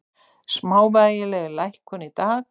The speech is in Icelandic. Smávægileg lækkun í dag